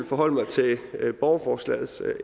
forholde mig til borgerforslagets